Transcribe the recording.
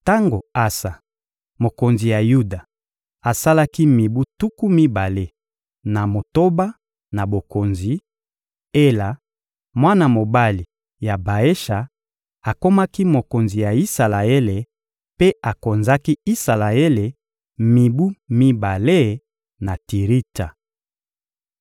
Tango Asa, mokonzi ya Yuda, asalaki mibu tuku mibale na motoba na bokonzi; Ela, mwana mobali ya Baesha, akomaki mokonzi ya Isalaele mpe akonzaki Isalaele mibu mibale na Tiritsa.